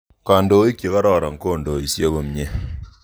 Kandoik che kororon kondoisei komnye.